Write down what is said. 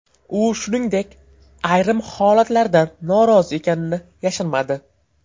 U, shuningdek, ayrim holatlardan norozi ekanini yashirmadi.